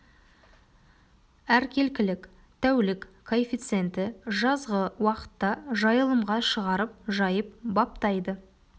әркелкілік тәулік коэффициенті жазғы уақытта жайылымға шығарып жайып баптайды